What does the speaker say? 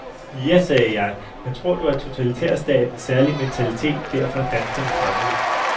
Ja, sagde jeg, men tror du, at totalitærstatens særlige mentalitet derfor er danskerne fremmed?